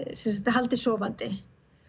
haldið sofandi